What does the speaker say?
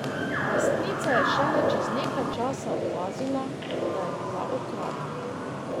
Lastnica je šele čez nekaj časa opazila, da je bila okradena.